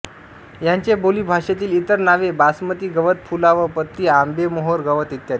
याचे बोलीभाषेतील इतर नावे बासमती गवत पुलाव पत्ती आंबेमोहोर गवत इत्यादी